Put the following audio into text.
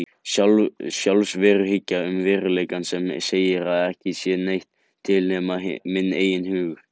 Sjálfsveruhyggja um veruleikann sem segir að ekki sé neitt til nema minn eigin hugur.